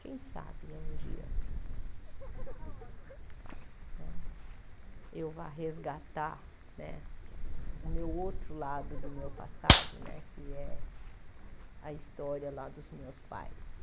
Quem sabe né um dia né eu vá resgatar né o meu outro lado do meu passado né, que é a história dos meus pais.